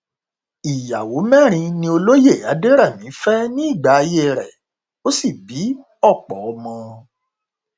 ìyàwó mẹrin ni olóye adẹrẹmí fẹ nígbà ayé rẹ ó sì bí ọpọ ọmọ